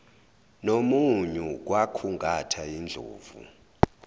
nomunyu kwakhungatha indlovu